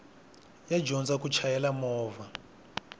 yo dyondza ku chayela movha